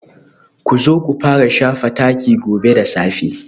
Ku zo ku fara shafa taki gobe da safe